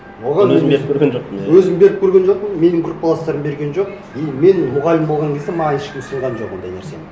оған мен өзім беріп көрген жоқпын иә өзім беріп көрген жоқпын менің группаластарым берген жоқ и мен мұғалім болған кезде маған ешкім ұсынған жоқ ондай нәрсені